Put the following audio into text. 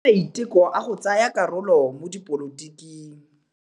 O dirile maitekô a go tsaya karolo mo dipolotiking.